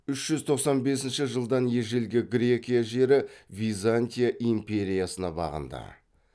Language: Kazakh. үш жүз тоқсан бесінші жылдан ежелгі грекия жері византия империясына бағынды